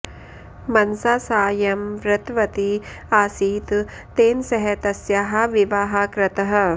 मनसा सा यं वृतवती आसीत् तेन सह तस्याः विवाहः कृतः